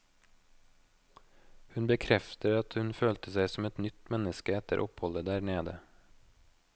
Hun bekrefter at hun følte seg som et nytt menneske etter oppholdet der nede.